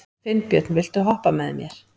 Finnbjörn, viltu hoppa með mér?